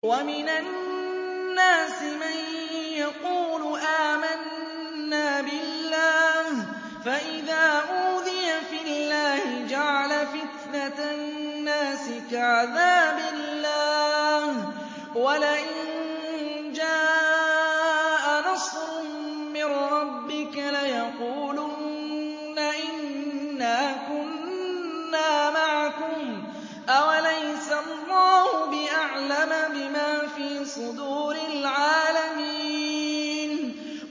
وَمِنَ النَّاسِ مَن يَقُولُ آمَنَّا بِاللَّهِ فَإِذَا أُوذِيَ فِي اللَّهِ جَعَلَ فِتْنَةَ النَّاسِ كَعَذَابِ اللَّهِ وَلَئِن جَاءَ نَصْرٌ مِّن رَّبِّكَ لَيَقُولُنَّ إِنَّا كُنَّا مَعَكُمْ ۚ أَوَلَيْسَ اللَّهُ بِأَعْلَمَ بِمَا فِي صُدُورِ الْعَالَمِينَ